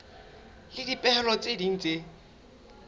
le dipehelo tse ding tse